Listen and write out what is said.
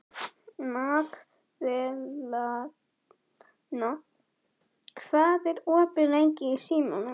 Magðalena, hvað er opið lengi í Símanum?